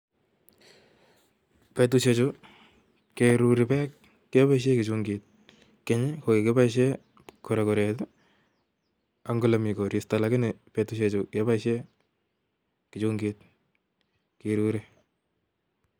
Betusiek chu, keruri beek, keboisie kichungit. Keny, ko kikiboisiei korokoret, ang ole miii koristo, lakini betusiek chu, keboisiei kichungit kiruri